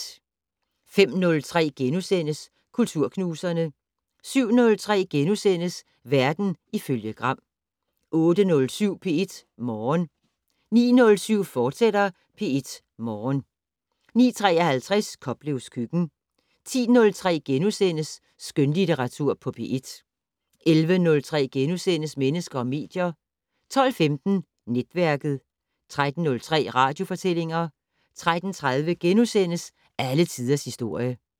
05:03: Kulturknuserne * 07:03: Verden ifølge Gram * 08:07: P1 Morgen 09:07: P1 Morgen, fortsat 09:53: Koplevs køkken 10:03: Skønlitteratur på P1 * 11:03: Mennesker og medier * 12:15: Netværket 13:03: Radiofortællinger 13:30: Alle tiders historie *